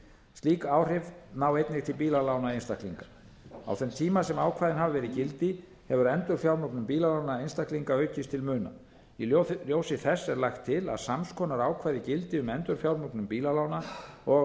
slík áhrif ná einnig til bílalána einstaklinga á þeim tíma sem ákvæðin hafa verið í gildi hefur endurfjármögnun bílalána einstaklinga aukist til muna í ljósi þess er lagt til að sams konar ákvæði gildi um endurfjármögnun bílalána og